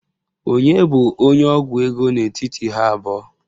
Onye bụ onye ọgwụ ego n'etiti ha abụọ?